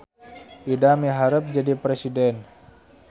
Ida miharep jadi presiden